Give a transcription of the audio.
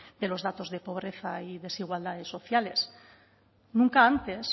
de los datos de pobreza y desigualdades sociales nunca antes